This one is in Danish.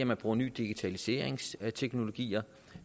man bruger nye digitaliseringsteknologier